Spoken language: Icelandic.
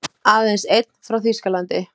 Aðeins einn frá Þýskalandi.